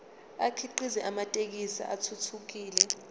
akhiqize amathekisthi athuthukile